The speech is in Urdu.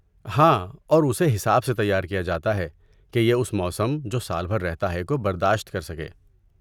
ہاں، اور اسے حساب سے تیار کیا جاتا ہے کہ یہ اس موسم، جو سال بھر رہتا ہے، کو برداشت کر سکے۔